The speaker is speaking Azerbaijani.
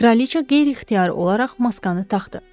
Kraliça qeyri-ixtiyari olaraq maskanı taxdı.